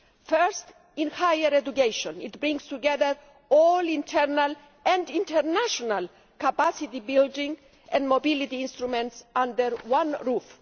First, in higher education, it brings together all internal and international capacity building and mobility instruments under one roof.